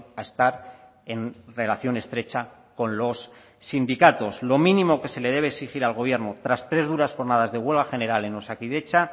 a estar en relación estrecha con los sindicatos lo mínimo que se le debe exigir al gobierno tras tres duras jornadas de huelga general en osakidetza